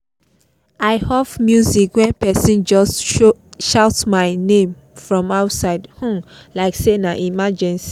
i off music when person just shout my um name from outside um like say na emergency